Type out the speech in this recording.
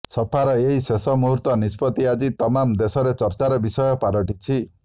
ସପାର ଏହି ଶେଷ ମୁହୂର୍ତ୍ତ ନିଷ୍ପତ୍ତି ଆଜି ତମାମ ଦେଶରେ ଚର୍ଚ୍ଚାର ବିଷୟ ପାଲଟିଛି